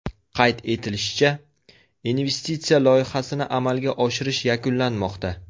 Qayd etilishicha, investitsiya loyihasini amalga oshirish yakunlanmoqda.